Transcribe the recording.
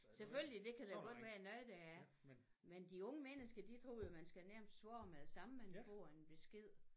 Selvfølgelig det kan der godt være noget der er men de unge mennesker de tror jo man skal nærmest svare med det samme man får en besked